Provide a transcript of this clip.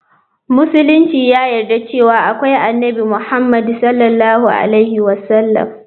Musulunci ya yarda cewa akwai Annabi Muhammadu S.A.W.